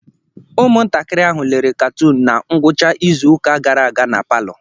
Ụmụntakịrị ahụ lere katoon na ngwụcha izu ụka gara aga na palọ.